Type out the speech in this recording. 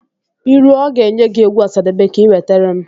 I rue ọ ga-enye gị egwu Ọsadebe ka i nwetere m